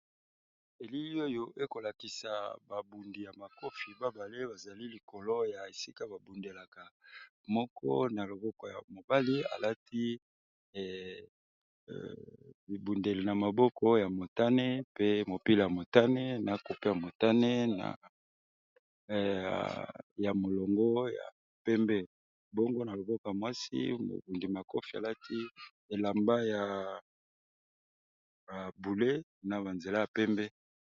ndako ya kitoko ya langi ya pembe na lilala ezali katia lopango ya kitoko mpenza